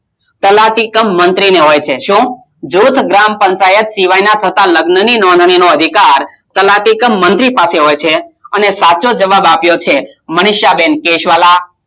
તલાટી કમ મંત્રી ને હોય છે હું જોજ ગ્રામ પંચાયતમાં સિવાય થતા લગ્ન નો અધિકાર કોને હોય છે સાચો જવાબ આપીઓ છે મનીષાબેન કેશવાલા